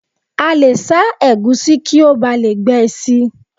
A lè sá ẹ̀gúsí kí ó bà lè gbẹ síi